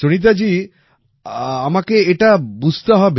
সুনীতাজী আমাকে এটা বুঝতে হবে